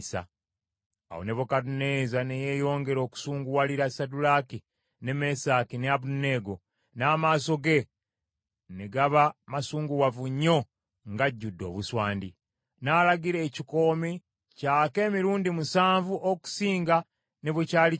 Awo Nebukadduneeza ne yeeyongera okusunguwalira Saddulaaki, ne Mesaki ne Abeduneego, n’amaaso ge ne gaba masunguwavu nnyo ng’ajjudde obuswandi. N’alagira ekikoomi kyake emirundi musanvu okusinga ne bwe kyali kyase.